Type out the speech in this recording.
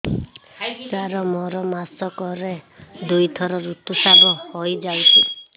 ସାର ମୋର ମାସକରେ ଦୁଇଥର ଋତୁସ୍ରାବ ହୋଇଯାଉଛି